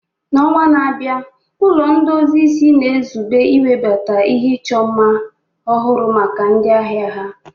N'ọnwa na-abịa, Ụlọ ndozi isi na-ezube iwebata ihe ịchọ mma ọhụrụ maka ndị ahịa ha.